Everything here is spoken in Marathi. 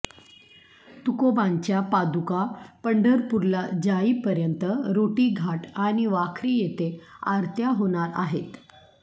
तुकोबांच्या पादुका पंढरपूरला जाईपर्यंत रोटी घाट आणि वाखरी येथे आरत्या होणार आहेत